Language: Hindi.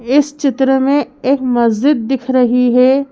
इस चित्र में एक मस्जिद दिख रही है।